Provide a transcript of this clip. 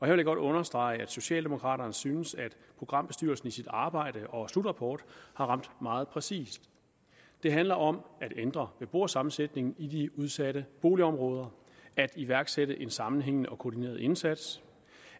jeg godt understrege at socialdemokraterne synes programbestyrelsen i sit arbejde og slutrapport har ramt meget præcist det handler om at ændre beboersammensætningen i de udsatte boligområder at iværksætte en sammenhængende og koordineret indsats